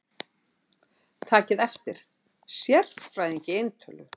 Takið eftir: Sérfræðing í eintölu.